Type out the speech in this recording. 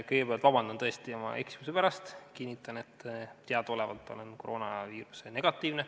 Kõigepealt palun tõesti vabandust oma eksimuse pärast, aga kinnitan, et teadaolevalt olen koroonaviiruse negatiivne.